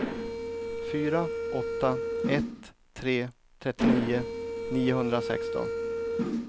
fyra åtta ett tre trettionio niohundrasexton